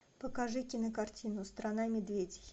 покажи кинокартину страна медведей